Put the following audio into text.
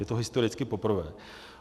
Je to historicky poprvé.